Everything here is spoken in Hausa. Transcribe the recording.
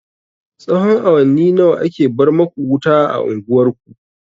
Tsahon awanni nawa ake bar maku wuta a unguwar ku?